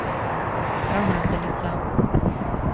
Ravnateljica.